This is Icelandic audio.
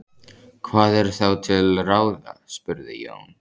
Hvað er þá til ráða? spurði Jón.